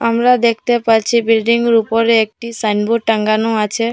আমরা দেখতে পাচ্ছি বিল্ডিংয়ের উপরে একটা সাইনবোর্ড টাঙানো আছে।